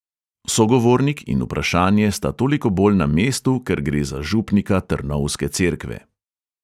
Sogovornik in vprašanje sta toliko bolj na mestu, ker gre za župnika trnovske cerkve.